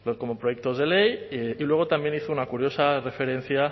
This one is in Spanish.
como proyectos de ley y luego también hizo una curiosa referencia